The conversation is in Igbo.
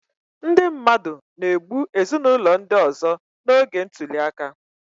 Ndị mmadụ na-egbu ezinụlọ ndị ọzọ n'oge ntuli aka